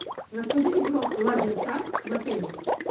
расскажите про лазертаг в отеле